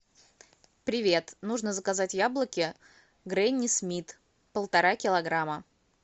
привет нужно заказать яблоки гренни смит полтора килограмма